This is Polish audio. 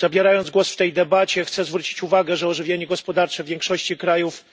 Zabierając głos w tej debacie, chcę zwrócić uwagę, że ożywienie gospodarcze w większości krajów